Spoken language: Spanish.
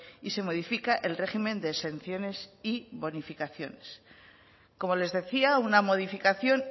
y se modifica el régimen de exenciones y bonificaciones como les decía una modificación